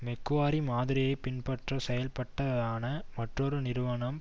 Macquarie மாதிரியை பின்பற்றி செயல்பட்டதான மற்றொரு நிறுவனம்